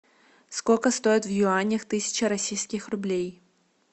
сколько стоит в юанях тысяча российских рублей